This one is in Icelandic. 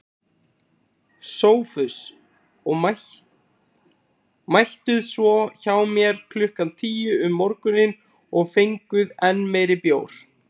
SOPHUS: Og mættuð svo hjá mér klukkan tíu um morguninn og fenguð enn meiri bjór.